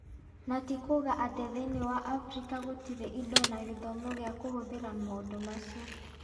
Na ti kuuga atĩ thĩinĩ wa Afrika gũtirĩ indo na gĩthomo gĩa kũhũthĩra maũndũ macio.